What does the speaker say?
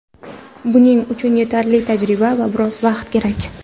Buning uchun yetarli tajriba va biroz vaqt kerak.